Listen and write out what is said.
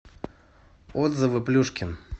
отзывы плюшкин